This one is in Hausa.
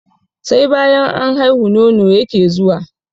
Sai banyan an haihu, nono yake zuwa.